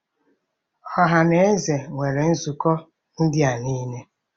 Ọha na eze nwere nzukọ ndị a niile.